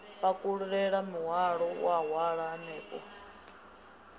pakulule muhwalo wa halwa hanefho